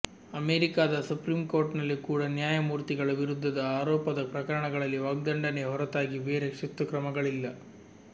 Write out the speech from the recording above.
ಅಮೆರಿಕದ ಸುಪ್ರೀಂ ಕೋರ್ಟ್ನಲ್ಲಿ ಕೂಡ ನ್ಯಾಯಮೂರ್ತಿಗಳ ವಿರುದ್ಧದ ಆರೋಪದ ಪ್ರಕರಣಗಳಲ್ಲಿ ವಾಗ್ಧಂಡನೆಯ ಹೊರತಾಗಿ ಬೇರೆ ಶಿಸ್ತುಕ್ರಮಗಳಿಲ್ಲ